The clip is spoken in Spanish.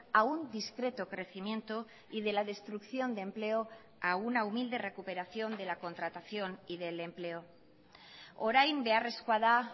a un discreto crecimiento y de la destrucción de empleo a una humilde recuperación de la contratación y del empleo orain beharrezkoa da